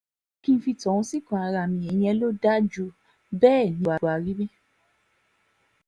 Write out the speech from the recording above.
ẹ jẹ́ kí n fi tọ̀hún síkùn ara mi ìyẹn ló dáa ju bẹ́ẹ̀ ní buhari wí